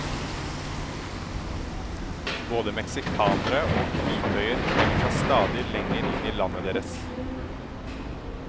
Både meksikanere og kvitøyer trenger seg stadig lenger inn i landet deres.